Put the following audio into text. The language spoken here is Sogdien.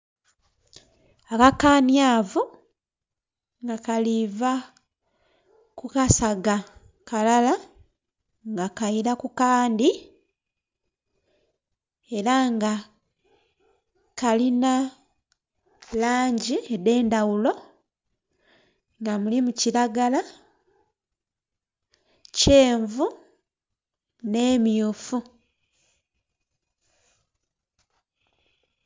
Akakanyavu nga kaliva kukasaga kalala nga kaira kukandhi era nga kalina langi edhendhaghulo nga mulimu kiragala, kyenvu n'emmyufu.